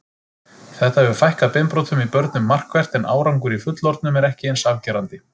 Þetta hefur fækkað beinbrotum í börnum markvert en árangur í fullorðnum er ekki eins afgerandi.